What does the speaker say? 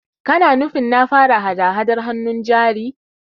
Kana nufin na fara hada-Hadar hannun jari?